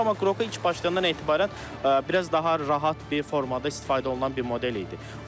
Amma Qroku ilk başlığından etibarən biraz daha rahat bir formada istifadə olunan bir model idi.